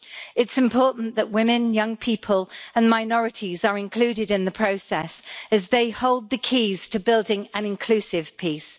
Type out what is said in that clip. It is important that women, young people and minorities are included in the process, as they hold the keys to building an inclusive peace.